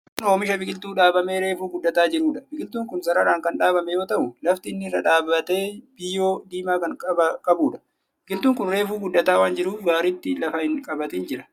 Kun oomisha biqiltuu dhaabamee reefu guddataa jiruudha. Biqiltuun kun sararaan kan dhaabame yoo ta'u, lafti inni irra dhaaabate biyyoo diimaa kan qabuudha. Biqiltuun kun reefu guddataa waan jiruuf gaaritti lafa hin qabatin jira.